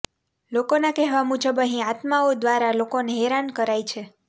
લોકો ના કેહવા મુજબ અહીં આત્માઓ દવારા લોકોને હેરાન કરાય છે